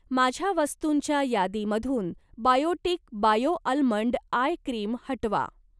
माझ्या वस्तुंच्या यादीमधून Biotique bio almond eye cream हटवा.